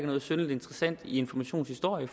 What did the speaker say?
noget synderlig interessant i informations historie